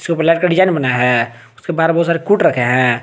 जो black design बनाया है उसके बाहर बहुत सारे कूट रखे हैं।